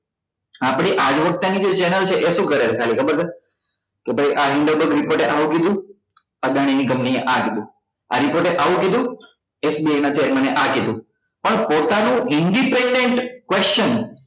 આપડી આગવક્તા ની જે channel છે એ શુ કરે છે ખાલી ખબર છે કે ભાઈ report એ આવુ કીધું અદાણી ની company એ અ કીધું આ report એ આ કીધું SBI ના chairman એ આ કીધું પણ પોતાનું independent question